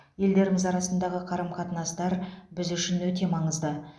елдеріміз арасындағы қарым қатынастар біз үшін өте маңызды